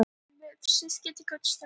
Hvernig ætli þessi ljónsmunni lykti?